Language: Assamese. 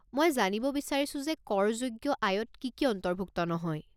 মই জানিব বিচাৰিছো যে কৰযোগ্য আয়ত কি কি অন্তৰ্ভুক্ত নহয়?